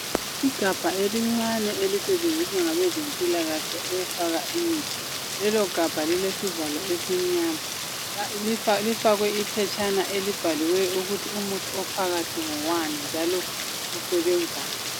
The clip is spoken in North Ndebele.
Igabha elincane elisetshenziswa ngabezempilakahle ukufaka imithi. Lelo gabha lilesivalo esimnyama lifakwe iphetshana elibhaliweyo ukuthi umuthu ophakathi ngowani njalo usebenzani.